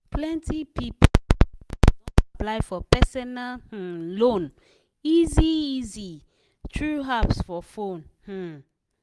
plenty people um don apply for personal um loan easy-easy through apps for fone um